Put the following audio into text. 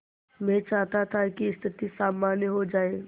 मैं चाहता था कि स्थिति सामान्य हो जाए